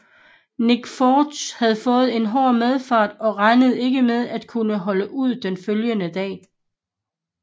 Nick Force havde fået en hård medfart og regnede ikke med at kunne holde ud den følgende dag